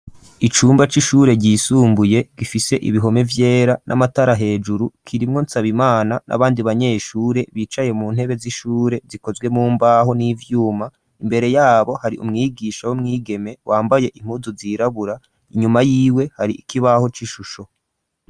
Icumba c'ishure ryisumbuye gifise ibihome vyera n'amatara hejuru, kirimwo Nsabimana n'abandi banyeshure bicaye mu ntebe z'ishure zikozwe mu mbaho n'ivyuma ,imbere yabo hari umwigisha w'umwigeme wambaye impuzu zirabura, inyuma y'iwe hari ikibaho c'ishusho.